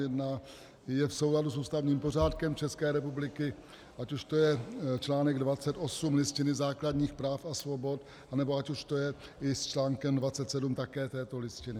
Je v souladu s ústavním pořádkem České republiky, ať už to je článek 28 Listiny základních práv a svobod, anebo ať už to je i s článkem 27 také této Listiny.